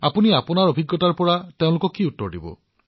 আপুনি আপোনাৰ অভিজ্ঞতাৰ পৰা তেওঁলোকক কেনেদৰে সঁহাৰি দিব